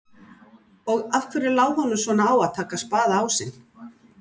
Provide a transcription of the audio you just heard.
Og af hverju lá honum svona á að taka spaðaásinn?